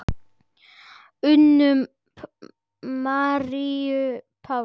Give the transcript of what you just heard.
Unu Maríu Páls.